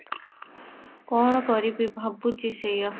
କଁ କରିବି ଭାବୁଛି ସେଇୟା